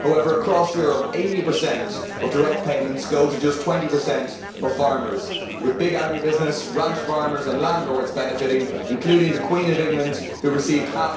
However, across Europe, 80 of direct payments go to just 20 of farmers, with big agri business, ranch farmers and landlords benefiting including the Queen of England, who received EUR